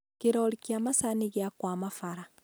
kĩrori kĩa macanĩ gĩakwama bara